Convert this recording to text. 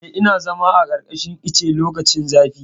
Eh, ina zama a ƙarƙashin ice lokacin zafi.